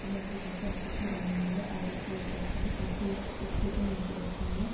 ये ओ के पीछे आपत्ति बनी हुई है आगे एक प्लेट राखी है| पीछे एक छोटी मूर्ति रखी हुई है।